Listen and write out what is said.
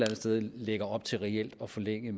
sted lægger op til reelt at forlænge